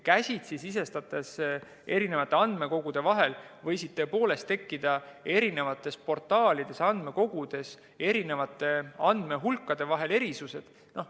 Käsitsi sisestades võisid tõepoolest tekkida eri portaalides ja andmekogudes andmehulkade vahel erisused.